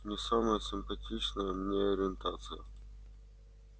не самая симпатичная мне ориентация